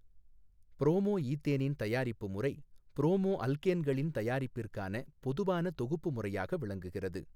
Promo ஈத்தேனின் தயாரிப்பு முறை ப்ரோமோ அல்கேன்களின் தயாரிப்பிற்கான பொதுவான தொகுப்பு முறையாக விளங்குகிறது.